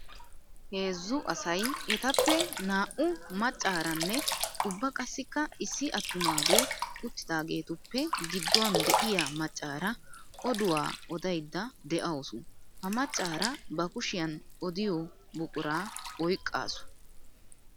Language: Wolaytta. Heezzu asay ettappe naa'u macaranne ubba qassikka issi atumage uttiddagettuppe giduwan de'iya macara oduwa odaydde de'awussu. Ha macara ba kushiyan odiyo buqura oyqqasu.